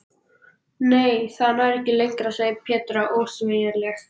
Nei, það nær ekki lengra segir Petra ósveigjanleg.